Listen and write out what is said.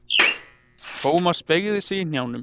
Thomas beygði sig í hnjánum.